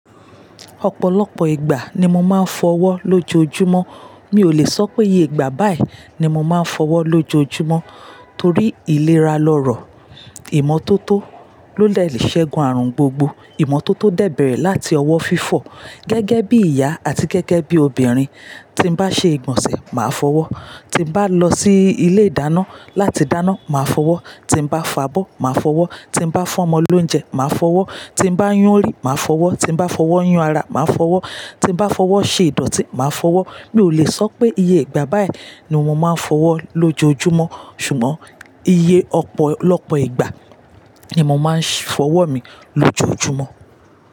Ọ̀pọ̀lọpọ̀ ìgbà ni mo máa ń fọwọ́ lójoojúmọ́. Mi ò lè sọ pé iye ìgbà báì ni mo máa ń fọwọ́ lójoojúmọ́ torí ìlera lọrọ̀, ìmọ́tótó ló de le ṣẹ́gun àrùn gbogbo. Ìmọ́tótó dè bẹ̀rẹ̀ láti ọwọ́ fífọ̀. Gẹ́gẹ́ bí ìyá àti gẹ́gẹ́ bí obìnrin, tí bá ṣe ìgbọ̀nsẹ̀ máa fọwọ́, tí bá lọ sí ilé ìdáná láti dáná máa fọwọ́, tí bá fabọ́ máa fọwọ́, tí bá fún ọmọ lóúnjẹ máa fọwọ́, tí bá yún orí máa fọwọ́, tí bá fọwọ́ yun ara máa fọwọ́, tí bá fọwọ́ ṣe ìdọ̀tí máa fọwọ́. Mi ò lè sọ pé iye ìgbà báì ni mo máa ń fọwọ́ lójoojúmọ́, ṣùgbọ́n iye ọ̀pọ̀lọpọ̀ ìgbà ni mo máa ń fọwọ́ mi lójoojúmọ́.